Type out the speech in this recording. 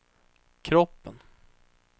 kroppen